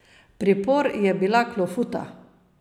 Pripor je bila klofuta...